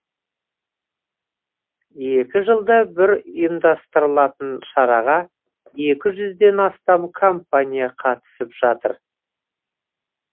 екі жылда бір ұйымдастырылатын шараға екі жүзден астам компания қатысып жатыр